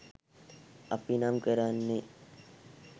අපි නම් කරන්නේ